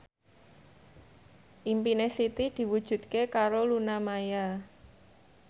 impine Siti diwujudke karo Luna Maya